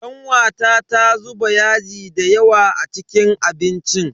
Kanwata ta zuba yaji dayawa a cikin abincin.